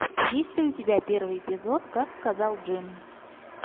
есть ли у тебя первый эпизод как сказал джим